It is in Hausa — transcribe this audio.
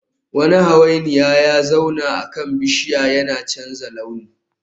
Wani hawainiya ya zauna akan bishiya yana canza launi